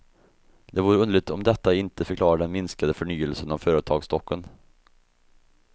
Det vore underligt om detta inte förklarar den minskade förnyelsen av företagsstocken.